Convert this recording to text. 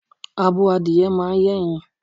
Abo adìye máa ń yé ẹyin.